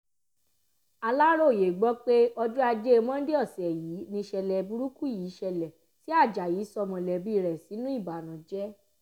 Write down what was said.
aláròye gbọ́ pé ọjọ́ ajé monde ọ̀sẹ̀ yìí nìṣẹ̀lẹ̀ burúkú yìí ṣẹlẹ̀ tí ajayi sọ mọ̀lẹ́bí rẹ̀ sínú ìbànújẹ́